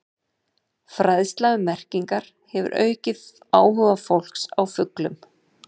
Fræðsla um merkingar hefur aukið áhuga fólks á fuglum.